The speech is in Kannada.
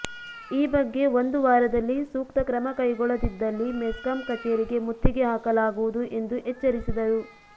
ಈ ಬಗ್ಗೆ ಒಂದು ವಾರದಲ್ಲಿ ಸೂಕ್ತ ಕ್ರಮ ಕೈಗೊಳ್ಳದಿದ್ದಲ್ಲಿ ಮೆಸ್ಕಾಂ ಕಚೇರಿಗೆ ಮುತ್ತಿಗೆ ಹಾಕಲಾಗುವುದು ಎಂದು ಎಚ್ಚರಿಸಿದರು